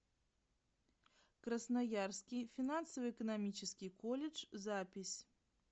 красноярский финансово экономический колледж запись